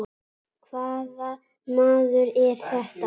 Hvaða maður er þetta?